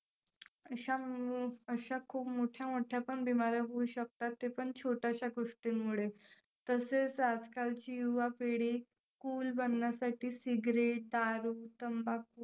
अशा अशा खूप मोठ्या मोठ्या पण बीमाऱ्या होऊ शकतात. ते पण छोट्याशा गोष्टींमुळे. तसेच आजकालची युवापिढी cool बनण्यासाठी cigarette दारू, तंबाखू